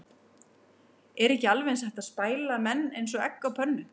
Er ekki alveg eins hægt að spæla menn eins og egg á pönnu?